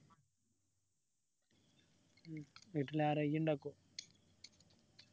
ഉം വീട്ടിൽ ആരാ ഇയ്യ്‌ ഇണ്ടാക്ഒ